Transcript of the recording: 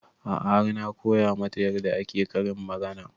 A'a har na koya mata yarda ake karin magana